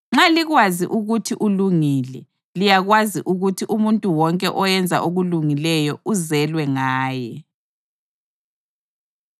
Nxa likwazi ukuthi ulungile, liyakwazi ukuthi umuntu wonke oyenza okulungileyo uzelwe ngaye.